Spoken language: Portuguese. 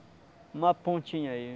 uma pontinha aí.